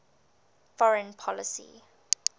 foreign policy